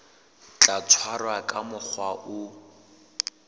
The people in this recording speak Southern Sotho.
tla tshwarwa ka mokgwa o